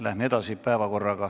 Läheme edasi!